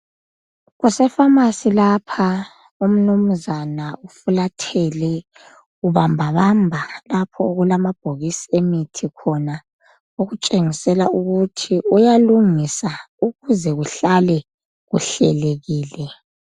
Kuse"pharmarcy " lapha. Umnumzane ufulathele, ubamba bamba lapho okulamabhokisi emithi khona okutshengisela ukuthi uyalungisa ukuze kuhlale kuhlelekile.